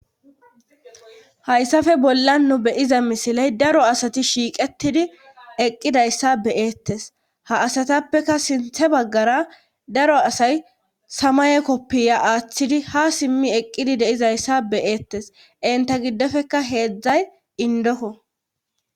hayssafe bolla nu beyiza misiley daro asati shiiqetidi eqqidayssa beyeettes ha asatappeka sinthe baggara daro asay samaye koppiya aaththidi ha simmi eqqidi deizayssa beyeettes inta giddofeka heedzdzay indoko